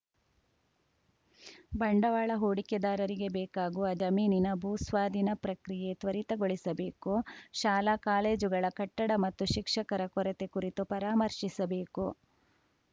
ಬಂಡವಾಳ ಹೂಡಿಕೆದಾರರಿಗೆ ಬೇಕಾಗುವ ಜಮೀನಿನ ಭೂ ಸ್ವಾಧೀನ ಪ್ರಕ್ರಿಯೆ ತ್ವರಿತಗೊಳಿಸಬೇಕು ಶಾಲಾಕಾಲೇಜುಗಳ ಕಟ್ಟಡ ಮತ್ತು ಶಿಕ್ಷಕರ ಕೊರತೆ ಕುರಿತು ಪರಾಮರ್ಶಿಸಬೇಕು